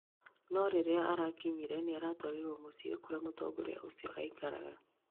No rirĩa arakinyire nĩaratwarirwo muciĩ kũria mũtongorĩa ũcio aikaraga